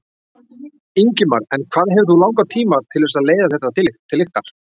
Ingimar: En hvað hefur þú langan tíma til þess að leiða þetta til lykta?